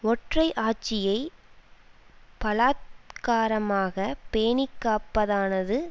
ஒற்றை ஆட்சியை பலாத்காரமாக பேணிக்காப்பதானது